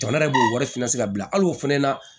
Jamana yɛrɛ b'o wari fana se ka bila hali o fana na